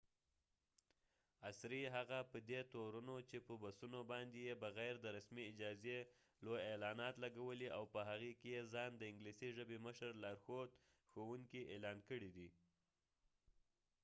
عصری هغه په دي تورنو چې په بسونو باندي یې بغیر د رسمی اجازی لوي اعلانات لګولی او په هغې کې یې ځا ن دانګلیسی ژبی مشر لارښود ښوونکې اعلان کړي دي